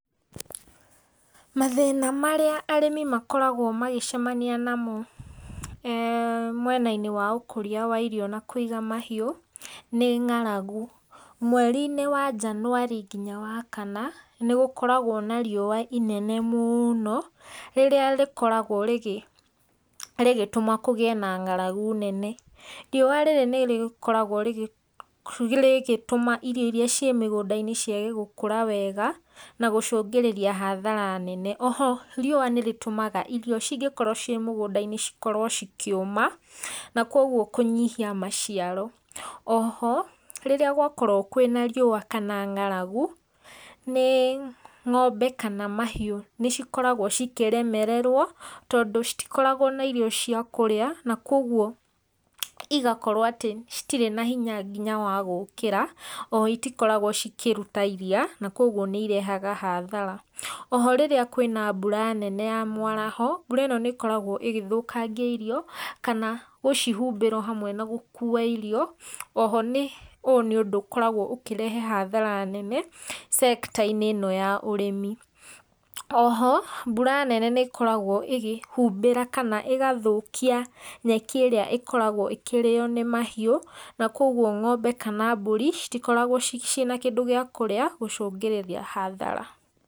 Mathĩna marĩa arĩmi makoragwo magĩcemania namo ee mwena-inĩ wa ũkũria wa irio na kũiga mahiũ, nĩ ng'aragu. Mweri-inĩ wa njanũari nginya wa kana, nĩgũkoragwo na riũwa inene mũno, rĩrĩa rĩkoragwo rĩgĩtũma kũgĩe na ng'aragu nene. Riũwa rĩrĩ nĩrĩkoragwo rĩgĩtũma irio iria ciĩ mĩgũnda-inĩ ciage gũkũra wega, na gũcũngĩrĩria hathara nene. Oho riũwa nĩrĩtũmaga irio cingĩkorwo ciĩ mũgũnda-inĩ cikorwo cikĩũma, na koguo kũnyihia maciaro. Oho, rĩrĩa gwakorwo kwĩna riũwa kana ng'aragu, ng'ombe kana mahiũ nĩcikoragwo cikĩremererwo, tondũ citikoragwo na irio cia kũrĩa, na koguo igakorwo atĩ citirĩ na hinya nginya wa gũkĩra, oho citikoragwo cikĩruta iria, na koguo nĩirehaga hathara. Oho rĩrĩa kwĩna mbura nene ya mwaraho, mbura ĩno nĩ ĩkoragwo ĩgĩthũkangia irio, kana gũcihumbĩra ohamwe na gũkuwa irio, oho ũyũ nĩ ũndũ ũkoragwo ũkĩrehe hathara nene cekta-inĩ ĩno ya ũrĩmi. Oho, mbura nene nĩ ĩkoragwo ĩkĩhumbĩra kana ĩgathũkia nyeki ĩrĩa ĩkoragwo ĩkĩrĩo nĩ mahiũ, na kwa ũguo ng'ombe kana mbũri, citikoragwo ciĩna kĩndũ gĩakũrĩa, gũcũngĩrĩria hathara.